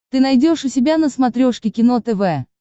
ты найдешь у себя на смотрешке кино тв